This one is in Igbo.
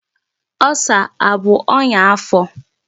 Ulcer abụ onya afọ?